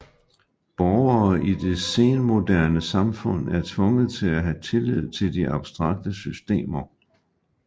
Borgere i det senmoderne samfund er tvunget til at have tillid til de abstrakte systemer